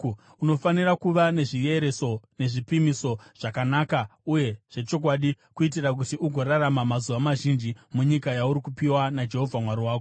Unofanira kuva nezviereso nezvipimiso zvakanaka uye zvechokwadi kuitira kuti ugorarama mazuva mazhinji munyika yauri kupiwa naJehovha Mwari wako.